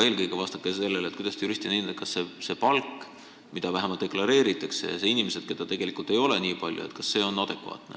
Eelkõige vastake aga sellele, kuidas te juristina hindate, kas see palk – vähemalt see, mida deklareeritakse – ja väidetav inimeste hulk, mis ei vasta tegelikkusele, on adekvaatne.